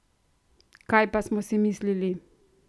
Kaj pa smo si mislili?